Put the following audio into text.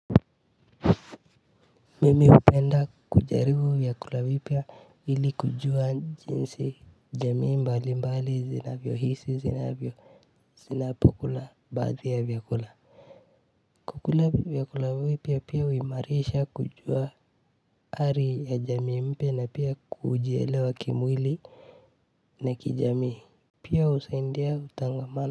Mimi hupenda kujaribu vyakula vipya ili kujua jinsi jamii mbali mbali zinavyohisi zinavyo zinapokula baadhi ya vyakula kukula vyakula vipya pia huimarisha kujua hali ya jamii mpya na pia kujielewa kimwili na kijamii pia husaidia utangamano.